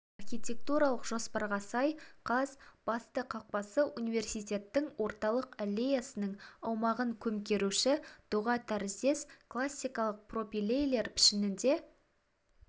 архитектуралық жоспарға сай қаз басты қақпасы университеттің орталық аллеясының аумағын көмкеруші доға тәріздес классикалық пропилейлер пішінінде